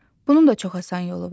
Bunun da çox asan yolu var.